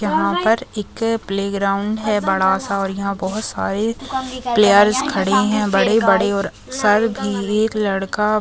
यहाँ पर एक प्लेग्राउंड है बड़ा सा और यहाँ बहुत सारे प्लेयर्स खड़े है बड़े बड़े और सर भी एक लड़का--